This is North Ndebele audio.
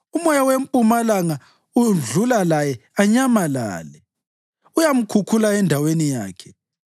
Umoya wempumalanga udlula laye, anyamalale; uyamkhukhula endaweni yakhe.